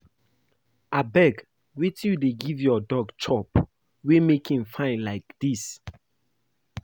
Abeg wetin you dey give your dog chop wey make im fine like dis?